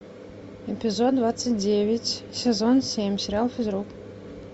эпизод двадцать девять сезон семь сериал физрук